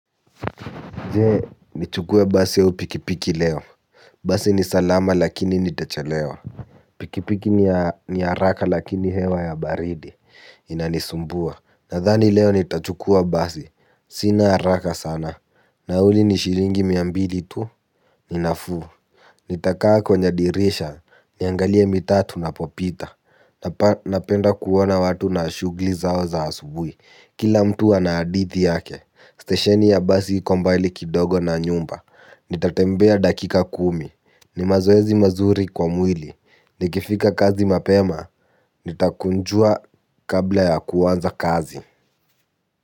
Je, nichukue basi au pikipiki leo? Basi ni salama lakini nitachelewa. Pikipiki ni haraka lakini hewa ya baridi. Inanisumbua. Nadhani leo nitachukua basi. Sina haraka sana. Nauli ni shilingi mia mbili tu. Ninafuu. Nitakaa kwenye dirisha. Niangalie mitaa tunapopita. Napenda kuona watu na shughuli zao za asubui. Kila mtu ana hadithi yake. Stesheni ya basi iko mbali kidogo na nyumba. Nitatembea dakika kumi. Ni mazoezi mazuri kwa mwili. Nikifika kazi mapema, nitakunjua kabla ya kuanza kazi.